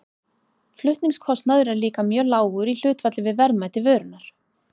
Flutningskostnaður er líka mjög lágur í hlutfalli við verðmæti vörunnar.